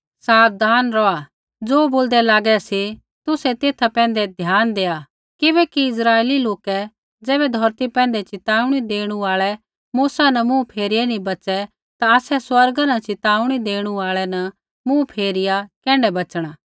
साबधान रौहा ज़ो बोलदै लागै सी तुसै तेथा पैंधै ध्यान देआ किबैकि इस्राइली लोकै ज़ैबै धौरती पैंधै च़िताऊणी देणु आल़ै मूसा न मुँह फेरिया नी बच़ै ता आसै स्वर्गा न च़िताऊणी देणु आल़ै न मुँह फेरिया कैण्ढै बच़णा